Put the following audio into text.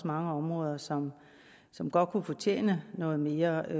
mange områder som som godt kunne fortjene noget mere